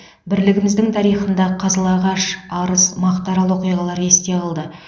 бірлігіміздің тарихында қызылағаш арыс мақтаарал оқиғалары есте қалды